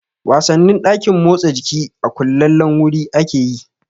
Wasannin ɗakin motsa jiki a kullallen wuri ake yi